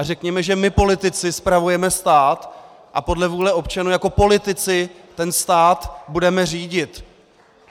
A řekněme, že my politici spravujeme stát a podle vůle občanů jako politici ten stát budeme řídit!